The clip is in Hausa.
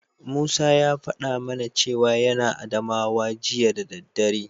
Musa ya faɗa mana cewa yana Adamawa jiya da daddare.